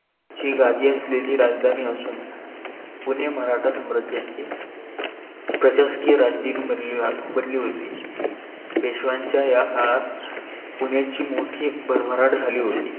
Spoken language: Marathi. ची गाधी असलेली राजधानी असून पुणे मराठा सम्राजाचे प्रशासकीय राजदिन बनली होती. पेशवाच्या या काळात पुणेची मोठी भरभराट झाली होती.